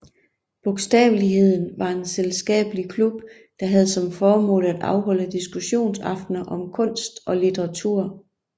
Bogstaveligheden var en selskabelig klub der havde som formål at afholde diskussionsaftner om kunst og litteratur